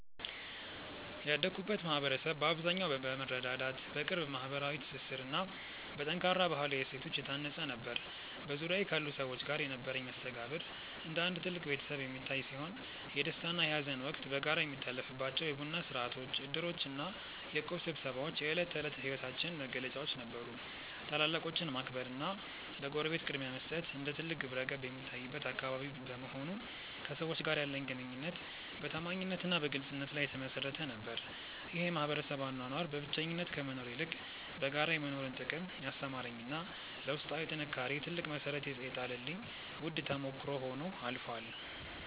ያደግኩበት ማኅበረሰብ በአብዛኛው በመረዳዳት፣ በቅርብ ማኅበራዊ ትስስርና በጠንካራ ባሕላዊ እሴቶች የታነፀ ነበር። በዙሪያዬ ካሉ ሰዎች ጋር የነበረኝ መስተጋብር እንደ አንድ ትልቅ ቤተሰብ የሚታይ ሲሆን፣ የደስታና የሐዘን ወቅት በጋራ የሚታለፍባቸው የቡና ሥርዓቶች፣ ዕድሮችና የእቁብ ስብሰባዎች የዕለት ተዕለት ሕይወታችን መገለጫዎች ነበሩ። ታላላቆችን ማክበርና ለጎረቤት ቅድሚያ መስጠት እንደ ትልቅ ግብረገብ የሚታይበት አካባቢ በመሆኑ፣ ከሰዎች ጋር ያለኝ ግንኙነት በታማኝነትና በግልጽነት ላይ የተመሠረተ ነበር። ይህ የማኅበረሰብ አኗኗር በብቸኝነት ከመኖር ይልቅ በጋራ የመኖርን ጥቅም ያስተማረኝና ለውስጣዊ ጥንካሬዬ ትልቅ መሠረት የጣለልኝ ውድ ተሞክሮ ሆኖ አልፏል።